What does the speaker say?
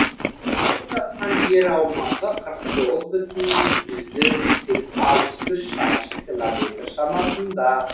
алып жатқан жер аумағы қырық тоғыз бүтін жүзден алпыс үш шаршы километр шамасында